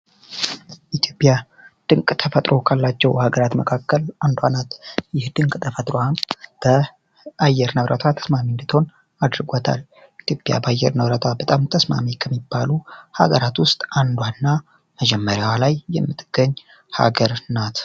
ኢትዮጵያ ድንቅ ተፈጥሮ ካላቸው ሀገራት መካከል አንዷናት ይህ ድንቅ ተፈጥራሃም በአየር ነብረቷ ተስማሚ እንድትሆን አድርገታል ኢትዮጵያ በአየር ነብረቷ በጣም ተስማሚ ከሚባሉ ሀገራት ውስጥ አንዷና መጀመሪያው ላይ የምትገኝ ሀገር ናት።